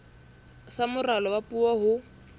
sa moralo wa puo ho